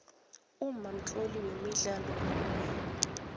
umma mtloli wemidlalo yomoya